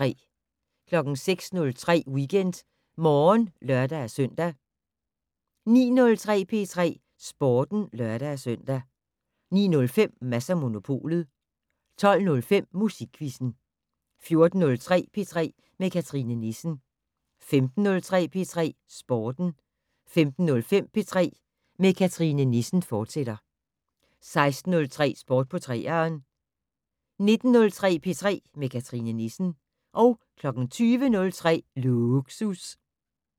06:03: WeekendMorgen (lør-søn) 09:03: P3 Sporten (lør-søn) 09:05: Mads & Monopolet 12:05: Musikquizzen 14:03: P3 med Cathrine Nissen 15:03: P3 Sporten 15:05: P3 med Cathrine Nissen, fortsat 16:03: Sport på 3'eren 19:03: P3 med Cathrine Nissen 20:03: Lågsus